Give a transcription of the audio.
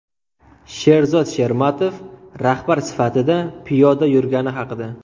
Sherzod Shermatov rahbar sifatida piyoda yurgani haqida.